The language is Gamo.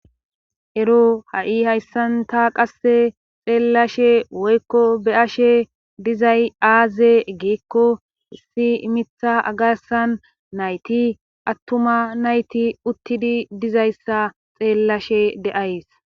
Ero ha7i hayssan ta qasse xeellashe woykko be7ashe dizay aaze giikko issi mitha garssan nayti attuma nayti uttidi dizayssa xeellashe de7ays.